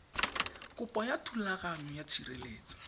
kopo ya thulaganyo ya tshireletso